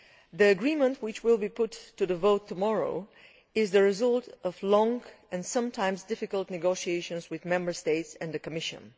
The agreement, which will be put to the vote tomorrow, is the result of long and sometimes difficult negotiations with Member States and the Commission.